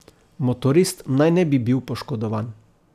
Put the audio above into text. Motorist naj ne bi bil poškodovan.